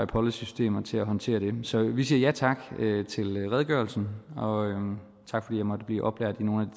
policy systemer til at håndtere dem så vi siger ja tak til redegørelsen og tak fordi jeg måtte blive oplært i nogle